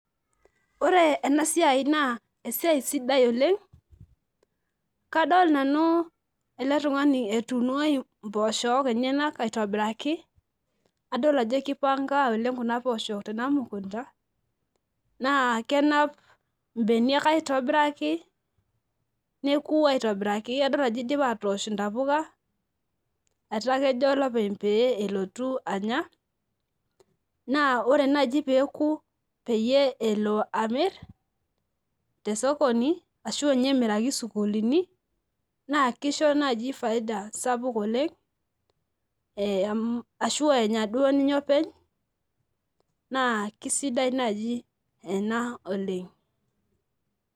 Ore enasiai naa esiai sidai oleng , kadol nanu eletungani etuuno imposhok enyenak aitobiraki adol ajo kipanka kuna poshok tenamukunta naa kenap imbeniak aitobiraki neku aitobiraki adol ajo idipa atoosh intapuka etaa kejo olopeny pee elotu anya naa ore naji peku peyie elo amir tesokoni ashu nye emiraki sukuulini naa kisho naji faida sapuk oleng eem ashu enya duo ninye openy naa kisidai naji ena oleng.